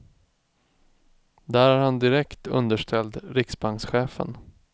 Där är han direkt underställd riksbankschefen.